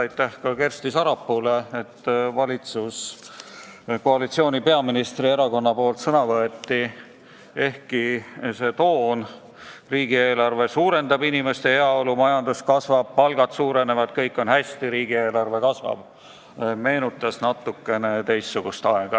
Aitäh Kersti Sarapuule, et ka peaministri erakonna nimel sõna võeti, ehkki see toon – riigieelarve suurendab inimeste heaolu, majandus kasvab, palgad suurenevad, kõik on hästi, riigieelarve kasvab – meenutas natukene üht teistsugust aega.